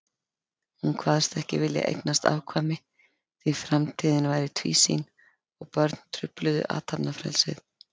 Hún kvaðst ekki vilja eignast afkvæmi, því framtíðin væri tvísýn og börn trufluðu athafnafrelsið.